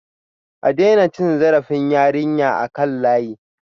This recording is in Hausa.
A daina cin zarafin yarinyar a kan layi